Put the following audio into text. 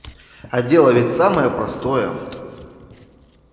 а дело ведь самое простое